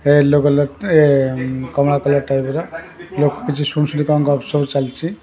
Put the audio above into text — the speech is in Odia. ୟେଲୋ କଲର୍ ଟେଏ କମଲା କଲର୍ ଟାଇପ୍ ର ଚାଲିଛି।